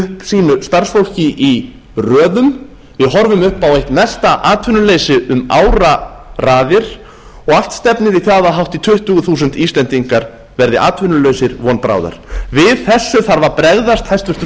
sínu starfsfólki í röðum við horfum upp á eitt mesta atvinnuleysi um áraraðir og allt stefnir í það að hátt í tuttugu þúsund íslendingar verði atvinnulausir von bráðar við þessu þarf að bregðast hæstvirtur